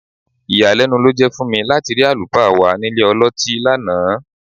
Ìyàlẹ́nu ló jẹ́ fún mi láti rí àlùfáà wa nílé ọlọ́tí lánàá